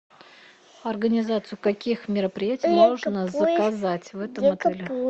организацию каких мероприятий можно заказать в этом отеле